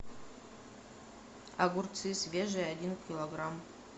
огурцы свежие один килограмм